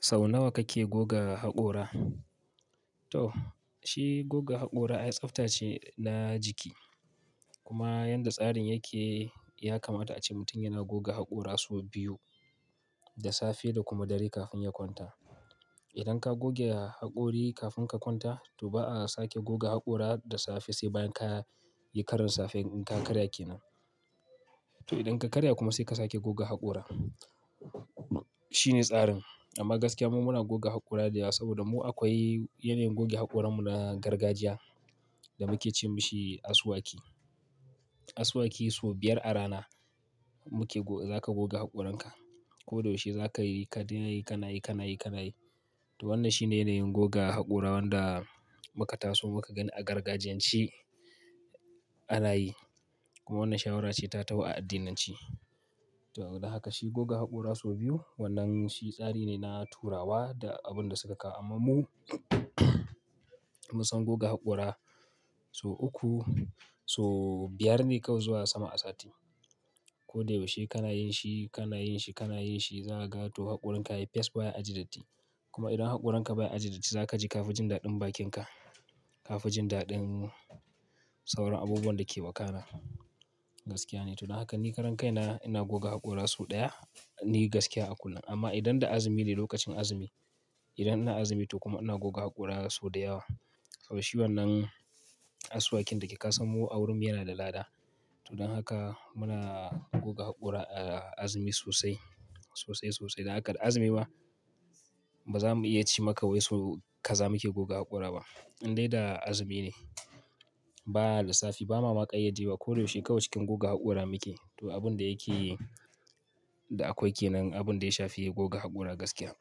Sau nawa kake goga haƙora? To shi goga haƙora, tsabta ce na jiki kuma yadda tsarin yake, ya kamata a ce mutum yana goga haƙora sau biyu, da safe da kuma dare kafin ya kwanta. Idan ka goge haƙori kafin ka kwanta to ba a sake goga haƙora da safe sai bayan ka yi karin safe in ka karya ke nan. To idan ka karya kuma sai ka sake goga haƙora. Shine tsarin. Amma gaskiya muna goga haƙora da yawa saboda mu akwai yanayin goge haƙoranmu na gargajiya da muke ce mashi asuwaki. Asuwaki sau biyar a rana muke go-- zaka goga haƙoranka. Ko da yaushe zakayi, kadai nayi, kanayi, kanayi, kanayi. To wannan shine yanayin goga haƙora wanda muka taso muka gani a gargajiyanci a raye. Kuma wannan shawarace ta tau a addinanci. To don haka shi goga haƙora sau biyu wannan shi tsari ne na turawa da abin da suka kawo amma mu munsan goga haƙora sau uku, sau biyar ne kawai zuwa sama a sati. Ko da yaushe kana yin shi, kana yin shi, kana yin shi, za a ga to haƙoranka yayi fes baya aji datti. Kuma idan haƙoranka baya aji datti za kaji, ka fi jin daɗin bakinka. Ka fi jin daɗin sauran abubuwan da ke wakana. Gaskiya ne. To don haka ni karan kai na, ina goga haƙora sau ɗaya ne gaskiya a kullum. Amma idan da azumi ne lokacin azumi, idan ina azumi to kuma ina goga haƙora sau da yawa. Saboda shi wannan asuwakin dayake ka san mu a wurin mu yana da lada. To don haka muna goga haƙora a azumi sosai, sosai sosai. Dan haka da azumi ba, ba za mu iya ci maka wai so ka za muke goga haƙora ba. Indai da azumi ne, baya lissafi ba ma ma kayyade wa. Ko da yaushe kawai cikin goga haƙora muke. To abin da yake da akwai ke nan, abin da ya shafi goga haƙora gaskiya.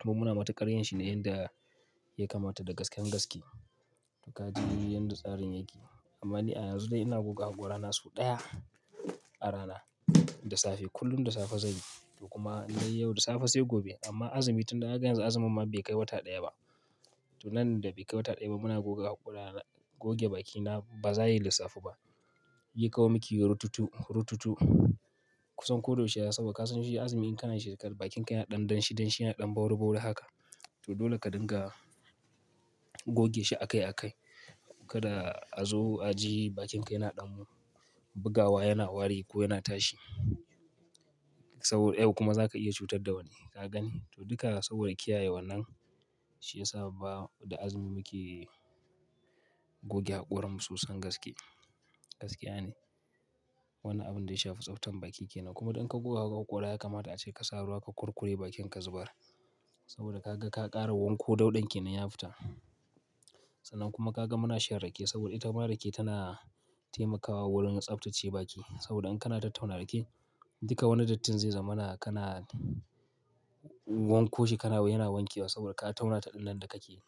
Kuma muna matuƙar yin shi ne yanda ya kamata da gasken gaske. Gaji yanda tsarin yake. Amma ni a yanzu dai ina goga haƙorana sau ɗaya a rana, da safe kullum da safe zanyi. To kuma na yi yau da safe sai gobe. Amma azumi tun da ka ga yanzu azumi ma bai kai wata ɗaya ba. To nan da bai kai wata ɗaya ba muna goga haƙora. Goge bakina ba zayi lissafi ba. Yi kawai miki rututu, rututu kusan ko da yaushe. Saboda ka san shi azumi in kana shi, bakinka yana ɗan dan shi, danshi yana ɗan ɓauri ɓauri haka. To dole ka dinga goge shi a kai a kai. Kada a zo a ji bakinka yana ɗan mu, bugawa, yana wari ko yana tashi. Saboda yau kuma zaka iya cutar da wani, ka gani? To duka saboda kiyaye wannan shiyasa ba da azumi muke goge haƙoranmu sosai gaske. Gaskiya ne. Wannan abin da ya shafi tsaftan baki ke nan. Kuma duk in ka goga haƙora ya kamata ace ka sa ruwa ka kurkure bakinka zuɓara. Saboda ka ga ka ƙara wanko dauɗan ke nan ya fita. Sannan kuma ka ga muna shan rake saboda ita mara rake tana taimakawa wurin tsaftace baki. Saboda in kana tattauna rake, duka wani dattin zai zama kana wanko shi kana yana wanke wa saboda ka tauna taɗin nan da kake yi.